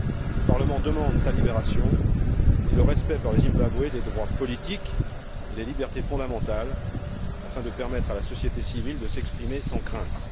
Le Parlement demande sa libération et le respect par le Zimbabwe des droits politiques et des libertés fondamentales, afin de permettre à la société civile de s'exprimer sans crainte.